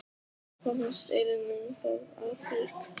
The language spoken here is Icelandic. Hvað fannst Elínu um það atvik?